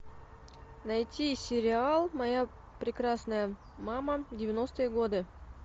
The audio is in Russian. найти сериал моя прекрасная мама девяностые годы